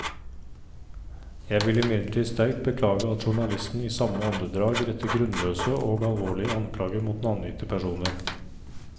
Jeg vil imidlertid sterkt beklage at journalisten i samme åndedrag retter grunnløse og alvorlige anklager mot navngitte personer.